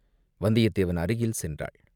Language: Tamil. வந்தியத்தேவன் அருகில் சென்றாள்.